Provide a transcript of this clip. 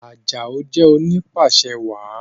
Ajao jé oni pàṣẹwàá